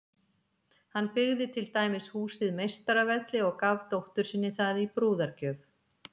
Hann byggði til dæmis húsið Meistaravelli og gaf dóttur sinni það í brúðargjöf.